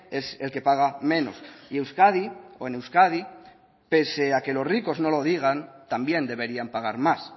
es el que paga menos y euskadi o en euskadi pese a que los ricos no lo digan también deberían pagar más